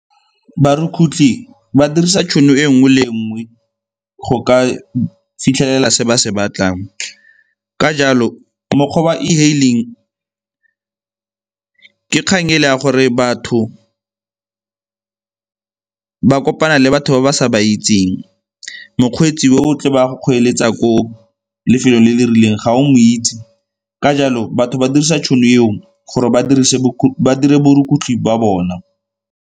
Barukutlhi ba dirisa tšhono e nngwe le nngwe go ka fitlhelela se ba se batlang. Ka jalo mokgwa wa e-hailing ka kgang ele ta gore batho ba kopana le batho ba ba sa ba itseng, mokgweetsi yo o tlo be a go kgweeletsa ko lefelong le le rileng ga o mo itse. Ka jalo batho ba dirisa tšhono eo gore ba dire borukutlhi jwa bona.